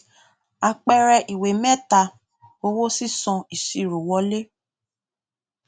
àpẹẹrẹ ìwé méta owó sísan ìṣirò wọlé